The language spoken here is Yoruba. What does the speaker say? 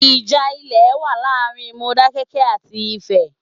Ìjà ilè wa láàrin Modákẹ́kẹ́ àti Ifẹ̀